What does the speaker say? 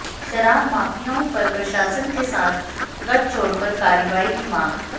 शराब माफियाओं पर प्रशासन के साथ गठजोड़ पर कार्रवाई की मांग